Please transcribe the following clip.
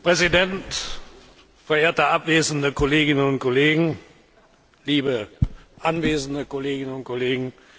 Herr Präsident! Verehrte abwesende Kolleginnen und Kollegen, liebe anwesende Kolleginnen und Kollegen!